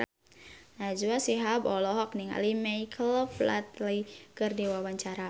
Najwa Shihab olohok ningali Michael Flatley keur diwawancara